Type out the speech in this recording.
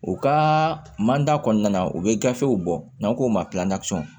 U ka manda kɔnɔna na u bɛ gafew bɔ n'an k'o ma